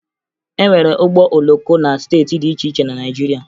E nwere ụgbọ oloko na steeti dị iche iche na Naịjirịa